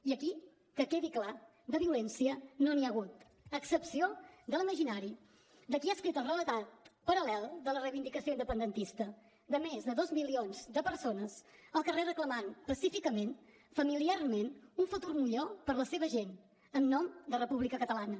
i aquí que quedi clar de violència no n’hi ha hagut a excepció de l’imaginari de qui ha escrit el relat paral·lel de la reivindicació independentista de més de dos milions de persones al carrer reclamant pacíficament familiarment un futur millor per a la seva gent en nom de la república catalana